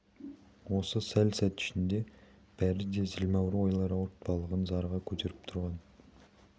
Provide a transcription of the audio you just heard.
осы сәл сәт ішінде бәрі де зілмауыр ойлар ауыртпалығын зарыға көтеріп тұрған